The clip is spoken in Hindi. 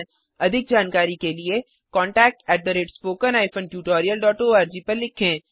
अधिक जानकारी के लिए contactspoken tutorialorg पर लिखें